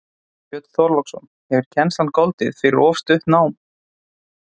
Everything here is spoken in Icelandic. Björn Þorláksson: Hefur kennslan goldið fyrir of stutt nám?